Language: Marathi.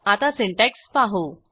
आता सिंटॅक्स पाहू